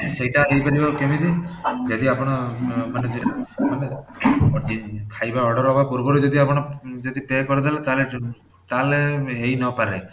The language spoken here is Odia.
ସେଟା ହେଇପାରିବ କେମିତି ଯଦି ଆପଣ ମାନେ ଯଦି ମାନେ ଖାଇବା order ହବା ପୂର୍ବରୁ ଯଦି ଆପଣ ଯଦି pay କରିଦେବେ ତାହାଲେ ତାହାଲେ ହେଇ ନ ପାରେ